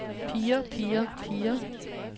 piger piger piger